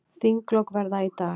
Þinglok verða í dag.